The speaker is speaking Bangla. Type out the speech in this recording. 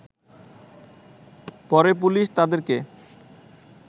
পরে পুলিশ তাদেরকে